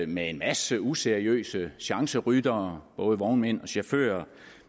med en masse useriøse chanceryttere både vognmænd og chauffører